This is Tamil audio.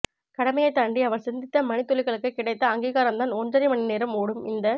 கடமையை தாண்டி அவர் சிந்தித்த மணித்துளிகளுக்கு கிடைத்த அங்கீகாரம் தான் ஒன்றரை மணிநேரம் ஓடும் இந்த